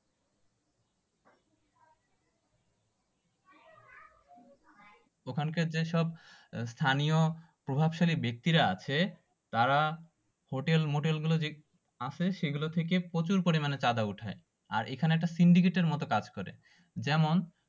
ওখানকার যেসব স্থানীয় প্রভাবশালী ব্যাক্তিরা আছে তারা হোটেল মোটেল গুলো যে আছে সেগুলো থেকে প্রচুর পরিমানে চাঁদা ওঠায় আর এখানে একটা syndicate এর মতো কাজ করে